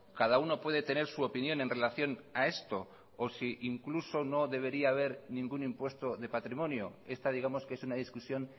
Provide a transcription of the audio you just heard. cada uno puede tener su opinión en relación a esto o si incluso no debería haber ningún impuesto de patrimonio esta digamos que es una discusión